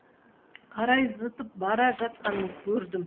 қарай зытып бара жатқанын көрдім